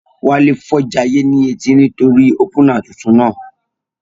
Wálé fọ́ jayé ní etí nítorí í ópúnà tuntun náà